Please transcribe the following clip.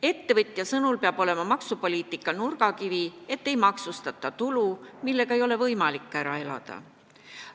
Ettevõtja sõnul peab maksupoliitika nurgakivi olema see, et ei maksustata tulu, millega ei ole võimalik ära elada.